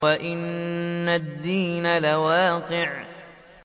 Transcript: وَإِنَّ الدِّينَ لَوَاقِعٌ